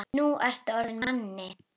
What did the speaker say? Nú ertu orðinn að manni.